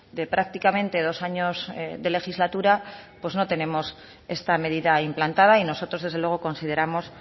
de prácticamente dos años de legislatura no tenemos esta medida implantada y nosotros desde luego consideramos